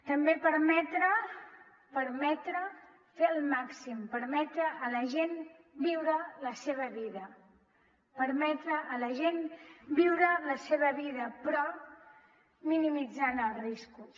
també permetre fer el màxim permetre a la gent viure la seva vida permetre a la gent viure la seva vida però minimitzant els riscos